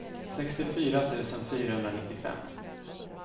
sextiofyra tusen fyrahundranittiofem